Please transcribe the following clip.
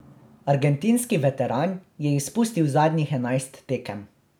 Argentinski veteran je izpustil zadnjih enajst tekem.